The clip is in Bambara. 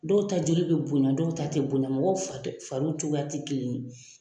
Dɔw ta joli bɛ bonya, dɔw ta tɛ bonya ,mɔgɔw fa fariw cogoyaw tɛ kelen ye.